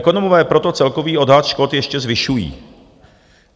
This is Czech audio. Ekonomové proto celkový odhad škod ještě zvyšují.